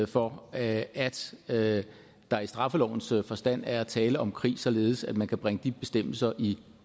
for at at der i straffelovens forstand er tale om krig således at man kan bringe de bestemmelser i